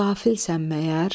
qafilsən məyər?